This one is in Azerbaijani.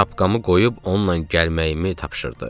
Şapkamı qoyub onunla gəlməyimi tapşırdı.